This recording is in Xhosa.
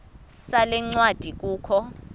sale ncwadi kukho